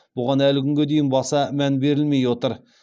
бұған әлі күнге дейін баса мән берілмей отыр